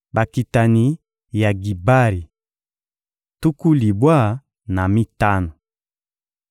Bakitani ya Gibari: tuku libwa na mitano.